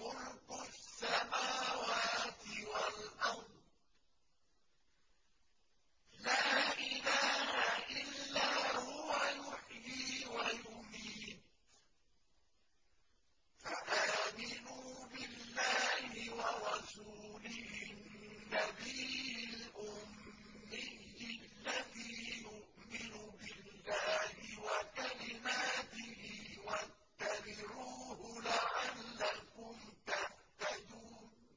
مُلْكُ السَّمَاوَاتِ وَالْأَرْضِ ۖ لَا إِلَٰهَ إِلَّا هُوَ يُحْيِي وَيُمِيتُ ۖ فَآمِنُوا بِاللَّهِ وَرَسُولِهِ النَّبِيِّ الْأُمِّيِّ الَّذِي يُؤْمِنُ بِاللَّهِ وَكَلِمَاتِهِ وَاتَّبِعُوهُ لَعَلَّكُمْ تَهْتَدُونَ